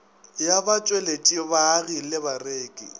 ya batšweletši baagi le bareki